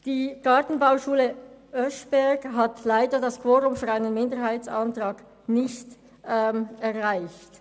Die Gartenbauschule Oeschberg hat leider das Quorum für einen Minderheitsantrag nicht erreicht.